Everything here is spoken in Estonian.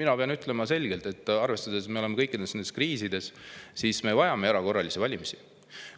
mina pean selgelt ütlema: arvestades, et me oleme kõikides nendes kriisides, me vajame erakorralisi valimisi.